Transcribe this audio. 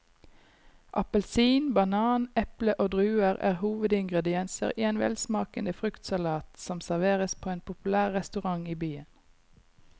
Appelsin, banan, eple og druer er hovedingredienser i en velsmakende fruktsalat som serveres på en populær restaurant i byen.